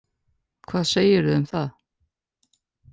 Hvað segirðu um það?